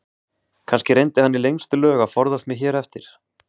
Kannski reyndi hann í lengstu lög að forðast mig hér eftir.